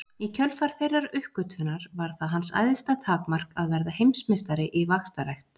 Í kjölfar þeirrar uppgötvunar varð það hans æðsta takmark að verða heimsmeistari í vaxtarrækt.